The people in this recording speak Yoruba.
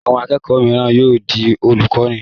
Àwọn akẹ́kọ̀ọ́ mìíràn yóò di olùkọ́ní.